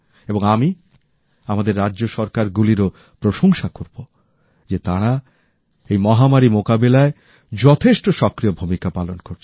এবং আমি আমাদের রাজ্য সরকারগুলিরও প্রশংসা করব যে তারা এই মহামারী মোকাবিলায় খুব সক্রিয় ভূমিকা পালন করছে